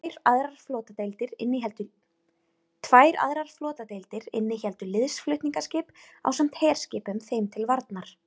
Tvær aðrar flotadeildir innihéldu liðsflutningaskip ásamt herskipum þeim til varnar.